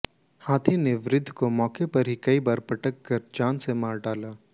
हाथी ने वृद्ध को मौके पर ही कई बार पटक कर जान से मार डाला